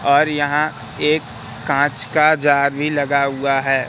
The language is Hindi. और यहां एक कांच का जार भी लगा हुआ है।